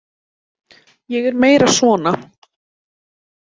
Ég er meira svona.